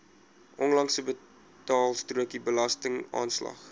onlangse betaalstrokie belastingaanslag